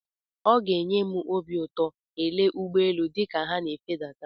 Ọ ga-enye m obi ụtọ ele ụgbọ elu dịka ha na-efedata.